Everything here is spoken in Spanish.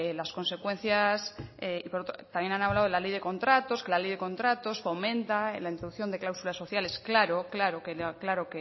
las consecuencias y también ha hablado de la ley de contratos que la ley de contratos fomenta la introducción de clausulas sociales claro claro